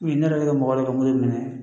U ye ne yɛrɛ ka mɔgɔ de ka mobili minɛ